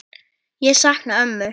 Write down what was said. Ég sakna ömmu.